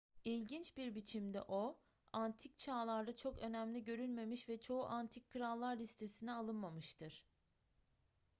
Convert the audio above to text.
i̇lginç bir biçimde o antik çağlarda çok önemli görülmemiş ve çoğu antik krallar listesine alınmamıştır